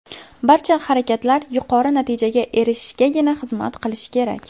Barcha harakatlar yuqori natijaga erishishgagina xizmat qilishi kerak.